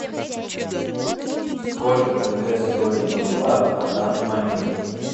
сколько тенге стоит боливар на данный момент